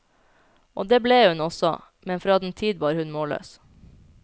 Og det ble hun også, men fra den tid var hun målløs.